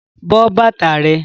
But bàtà rẹ!